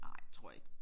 Nej tror jeg ikke